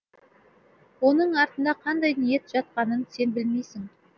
оның артында қандай ниет жатқанын сен білмейсің